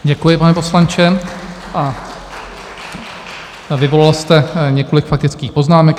Děkuji, pane poslanče, a vyvolal jste několik faktických poznámek.